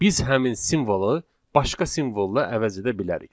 Biz həmin simvolu başqa simvolla əvəz edə bilərik.